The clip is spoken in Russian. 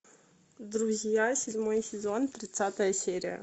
друзья седьмой сезон тридцатая серия